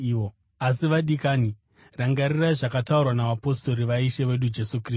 Asi, vadikani, rangarirai zvakataurwa navapostori vaIshe wedu Jesu Kristu.